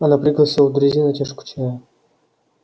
она пригласила друзей на чашку чая